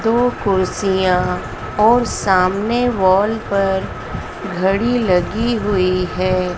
दो कुर्सियां और सामने वॉल पर घड़ी लगी हुई है।